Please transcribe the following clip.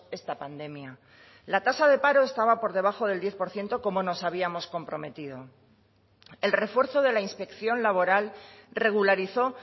esta pandemia la tasa de paro estaba por debajo del diez por ciento como nos habíamos comprometido el refuerzo de la inspección laboral regularizó